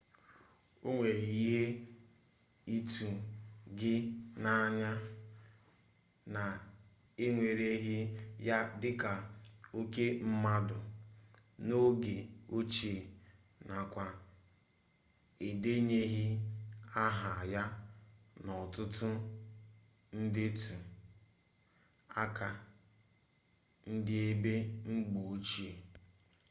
o nwere ike ịtụ gị n'anya na ewereghị ya dịka oke mmadụ n'oge ochie nakwa edenyeghị aha ya n'ọtụtụ ndetu aha ndị eze mgbe ochie